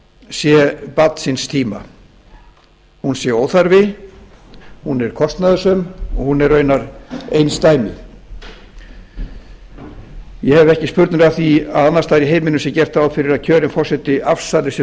sé barn síns tíma hún sé óþarfi hún er kostnaðarsöm og hún er raunar einsdæmi ég hef ekki spurnir af því að annars staðar í heiminum sé gert ráð fyrir að kjörinn forseti afsali sér